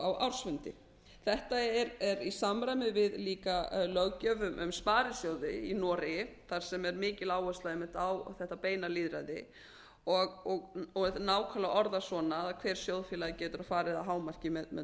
á ársfundi þetta er í samræmi líka við löggjöf um sparisjóði í noregi þar sem er mikil áhersla einmitt á þetta beina lýðræði og nákvæmlega orðað svona að hver sjóðfélagi geti farið að hámarki með